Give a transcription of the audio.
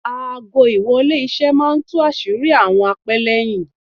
Aago- ìwọlé- iṣẹ́ máa tú àṣírí àwọn apẹ́lẹ́yìn.